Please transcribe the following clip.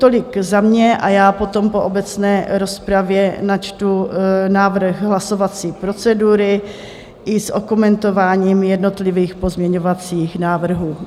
Tolik za mě a já potom po obecné rozpravě načtu návrh hlasovací procedury i s okomentováním jednotlivých pozměňovacích návrhů.